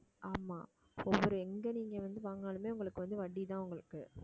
ஆமா எங்க நீங்க வந்து வாங்கினாலுமே உங்களுக்கு வட்டி தான் உங்களுக்கு